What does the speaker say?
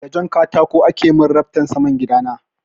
Da jan katako ake min raftan saman gida na.